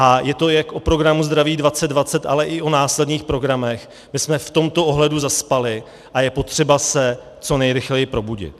A je to jak o programu Zdraví 2020, ale i o následných programech, kde jsme v tomto ohledu zaspali, a je potřeba se co nejrychleji probudit.